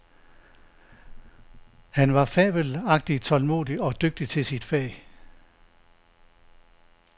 Han var fabelagtig tålmodig og dygtig til sit fag.